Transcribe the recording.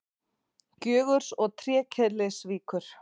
Gjögurs og Trékyllisvíkur.